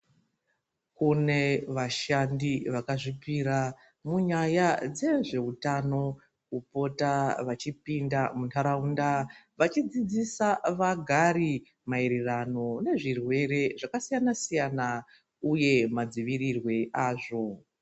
Kune vashandi vakazvipira munyaya dze zveutano kupota vachipinda mu ndaraunda vachi dzidzisa vagari maererano ne zvirwere zvaka siyana siyana uye madzivirirwe azvo.